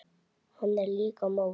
Hann er líka móður.